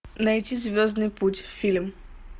найти звездный путь фильм